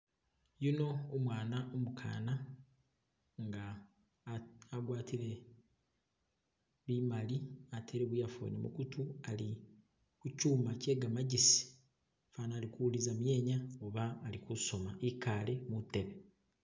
Yuno umwana umukana nga agwatile bimali atele bu earphone mugutu ali kuchuma kye gamagesi fana ali kuwuliliza myenya oba ali kusoma ikale mutebe.